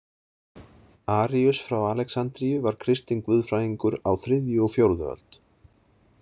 Aríus frá Alexandríu var kristinn guðfræðingur á þriðju og fjórðu öld.